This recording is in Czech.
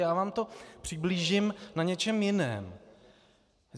Já vám to přiblížím na něčem jiném.